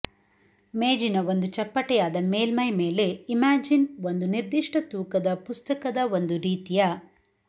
ಮೇಜಿನ ಒಂದು ಚಪ್ಪಟೆಯಾದ ಮೇಲ್ಮೈ ಮೇಲೆ ಇಮ್ಯಾಜಿನ್ ಒಂದು ನಿರ್ದಿಷ್ಟ ತೂಕದ ಪುಸ್ತಕದ ಒಂದು ರೀತಿಯ